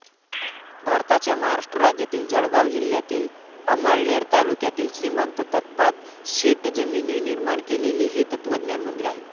भारताच्या महाराष्ट्र राज्यातील जळगाव जिल्ह्यातील 'अमळनेर तालुक्यात श्रीमंत प्तताप शेटजींनीनिर्माण केलेले हे तत्वज्ञान मंदिर आहे.